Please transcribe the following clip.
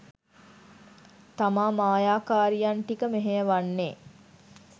තමා මායාකාරියන් ටික මෙහෙයවන්නේ.